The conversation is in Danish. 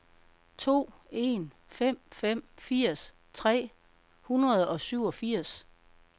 to en fem fem firs tre hundrede og syvogfirs